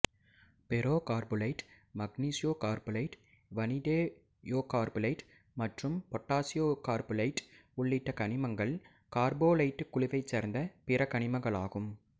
பெரோகார்ப்போலைட்டு magnesiocarpholite vanadiocarpholite மற்றும் potassiccarpholite உள்ளிட்ட கனிமங்கள் கார்ப்போலைட்டுக் குழுவைச் சேர்ந்த பிற கனிமங்களாகும்